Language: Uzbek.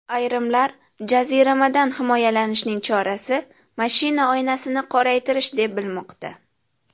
Ayrimlar jaziramadan himoyalanishning chorasi mashina oynasini qoraytirish deb bilmoqda.